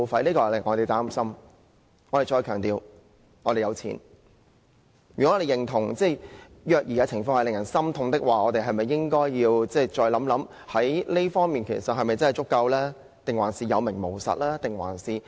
如果我們認同虐兒的情況令人心痛，是否應該要再考慮這方面的資源是否真的足夠？還是有名無實？